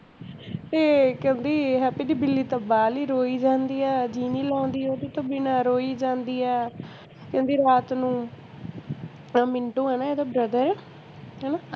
ਇਹ ਕਹਿੰਦੀ ਆਹ ਹਰਪ੍ਰੀਤ ਦੀ ਬਿੱਲੀ ਤਾਂ ਬਾਹਲੀ ਰੋਈ ਜਾਂਦੀ ਆ, ਜੀ ਨੀ ਲਾਉਂਦੀ ਓਹਦੇ ਤੋਂ ਬਿਨਾ ਰੋਈ ਜਾਂਦੀ ਆ ਕਹਿੰਦੀ ਰਾਤ ਨੂੰ ਉਹ ਮਿੰਟੂ ਹੈ ਨਾ ਇਹਦਾ brother ਹੈਨਾ